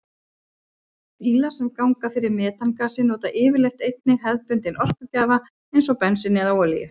Bílar sem ganga fyrir metangasi nota yfirleitt einnig hefðbundinn orkugjafa eins og bensín eða olíu.